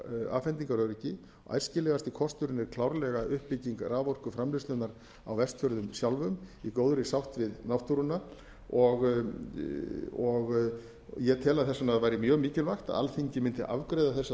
raforkuafhendingaröryggi æskilegasti kosturinn er klárlega uppbygging raforkuframleiðslunnar á vestfjörðum sjálfum í góðri sátt við náttúruna og ég tel að þess vegna væri mjög mikilvægt að alþingi mundi afgreiða þessa